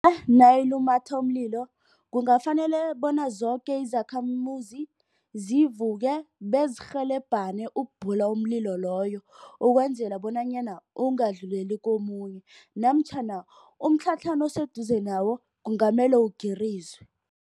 Nayilumatha umlilo kungafanele bona zoke izakhamuzi zivuke bezirhelebhane ukubhula umlilo loyo. Ukwenzela bonanyana ungadluleli komunye namtjhana umtlhatlhana oseduze nawo kungamele ugirizwe.